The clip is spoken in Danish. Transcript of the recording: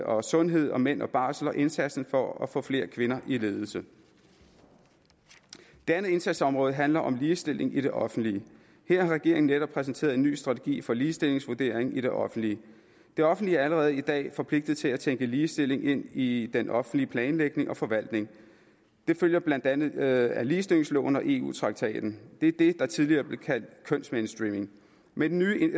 og sundhed og mænd og barsel og indsatsen for at få flere kvinder i ledelse det andet indsatsområde handler om ligestilling i det offentlige her har regeringen netop præsenteret en ny strategi for ligestillingsvurdering i det offentlige det offentlige er allerede i dag forpligtet til at tænke ligestilling ind i den offentlige planlægning og forvaltning det følger blandt andet af ligestillingsloven og eu traktaten det er det der tidligere blev kaldt kønsmainstreaming med den nye